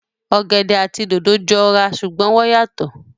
Ọ̀gẹ̀dẹ̀ àti dòdò jọ ra ṣùgbọ́n wọ́n yàtọ̀